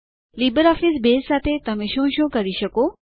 LibreOffice Base સાથે તમે શું શું કરી શકો